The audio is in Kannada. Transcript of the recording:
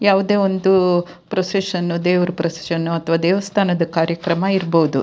ಯಾವುದೇ ಒಂದು ಪ್ರೊಸೆಶನ್ ದೇವ್ರ ಪ್ರೊಸೆಶನ್ ಅಥವಾ ದೇವಸ್ಥಾನದ ಕಾರ್ಯಕ್ರಮ ಇರಬಹುದು .